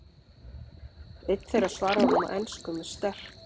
Einn þeirra svarar honum á ensku með sterk